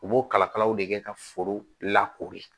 U b'o kala kalaw de kɛ ka foro lakori